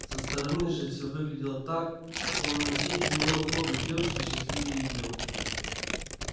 со стороны же все выглядело так словно на свете не могло быть девушки счастливее её